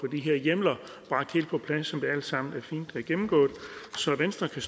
de her hjemler helt på plads sådan som det alt sammen fint er gennemgået så venstre kan